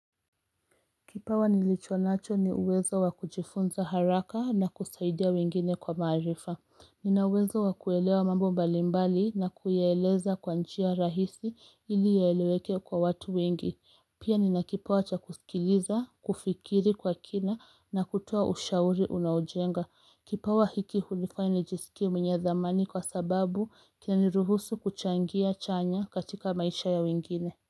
Kipawa nilichonacho ni uwezo wakujifunza haraka na kusaidia wengine kwa maarifa. Ninauwezo wa kuelewa mambo mbalimbali na kuyaeleza kwa njia rahisi ili yaeleweke kwa watu wengi. Pia nina kipawa cha kusikiliza, kufikiri kwa kina na kutoa ushauri unaojenga. Kipawa hiki hunifanya nijisikie mwenye dhamani kwa sababu kinani ruhusu kuchangia chanya katika maisha ya wengine.